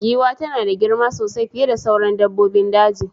The elephant is very big, bigger than the other animals in bush.